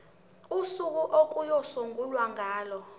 usuku okuyosungulwa ngalo